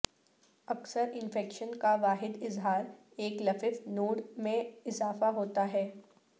اکثر انفیکشن کا واحد اظہار ایک لفف نوڈ میں اضافہ ہوتا ہے